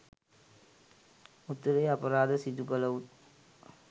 උතුරේ අපරාධ සිදු කළවුන්